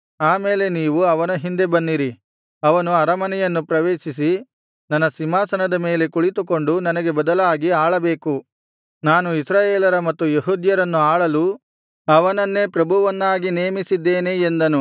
ಆಮೇಲೆ ನೀವು ಅವನ ಹಿಂದೆ ಬನ್ನಿರಿ ಅವನು ಅರಮನೆಯನ್ನು ಪ್ರವೇಶಿಸಿ ನನ್ನ ಸಿಂಹಾಸನದ ಮೇಲೆ ಕುಳಿತುಕೊಂಡು ನನಗೆ ಬದಲಾಗಿ ಆಳಬೇಕು ನಾನು ಇಸ್ರಾಯೇಲರ ಮತ್ತು ಯೆಹೂದ್ಯರನ್ನು ಆಳಲು ಅವನನ್ನೇ ಪ್ರಭುವನ್ನಾಗಿ ನೇಮಿಸಿದ್ದೇನೆ ಎಂದನು